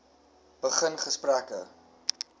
begin gesprekke